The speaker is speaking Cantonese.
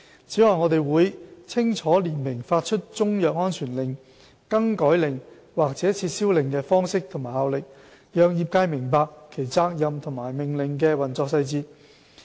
此外，我們會清楚列明發出中藥安全令、更改令及撤銷令的方式和效力，讓業界明白其責任和命令的運作細節。